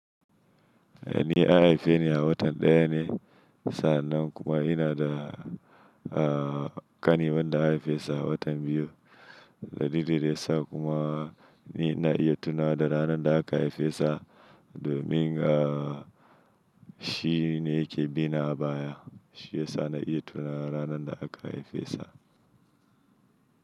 Ni an haife ni a watan ɗaya ne sa'an nan kuma ina da a ƙani wanda an haife shi a watan biyu. Dalilin ya sa kuma ni ina iya tunawa da ranar da aka haife sa domin a shi ne yake bina a baya. Shi ya sa na iya tuna ranar da aka haife sa.